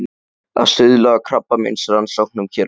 Að stuðla að krabbameinsrannsóknum hér á landi.